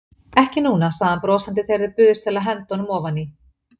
Ekki núna, sagði hann brosandi þegar þau buðust til að henda honum ofaní.